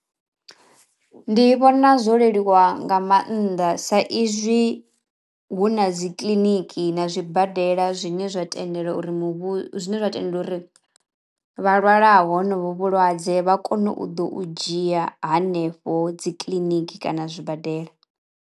Ndi vhona zwo leluwa nga mannḓa sa izwi hu na dzi kiḽiniki na zwibadela zwine zwa tendelwa uri muvhu zwine zwa tenda uri vha lwalaho honovho vhulwadze vha kono u ḓo u dzhia hanefho dzi kiḽiniki kana zwibadela.